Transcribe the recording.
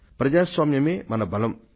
ప్రజాస్వామ్యమే మన బలం